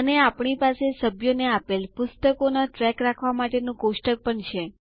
અને આપણી પાસે સભ્યોને આપેલ પુસ્તકોનો ટ્રેક રાખવા માટેનું કોષ્ટક પણ છે